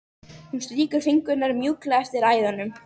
Hún strýkur fingrunum mjúklega eftir æðunum.